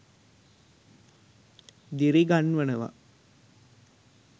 දිරි ගන්වනවා